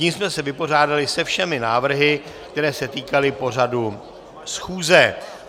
Tím jsme se vypořádali se všemi návrhy, které se týkaly pořadu schůze.